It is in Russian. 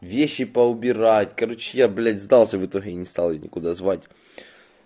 вещи поубирать короче я блять сдался в итоге и не стал её никуда звать